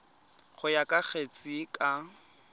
go ya ka kgetse ka